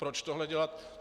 Proč tohle dělat?